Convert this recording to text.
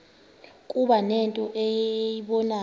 kuba nento eyibonayo